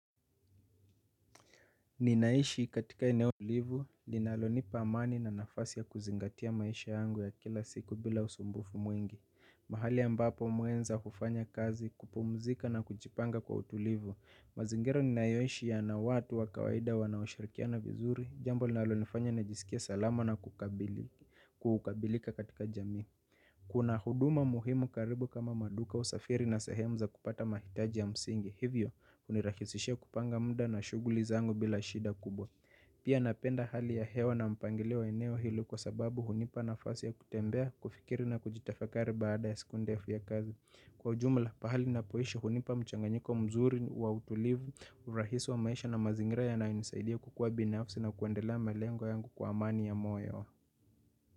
Ninaishi katika eneo tulivu linalonipa amani na nafasi ya kuzingatia maisha yangu ya kila siku bila usumbufu mwingi. Mahali ambapo mwenza kufanya kazi kupumzika na kujipanga kwa utulivu. Mazingira ninayoishi yana watu wa kawaida wanaoshirikiana vizuri jambo linalonifanya najisikie salama na kukabili kukabilika katika jamii. Kuna huduma muhimu karibu kama maduka, usafiri na sehemu za kupata mahitaji ya msingi, hivyo hunirahisisha kupanga muda na shughuli zangu bila shida kubwa. Pia napenda hali ya hewa na mpangilio wa eneo hilo kwa sababu hunipa nafasi ya kutembea, kufikiri na kujitafakari baada ya siku ndefu ya kazi kwa ujumla, pahali ninapoishi hunipa mchanganyiko mzuri wa utulivu, urahisi wa maisha na mazingira yanayonisaidia kukua binafsi na kuendelea malengo yangu kwa amani ya moyo.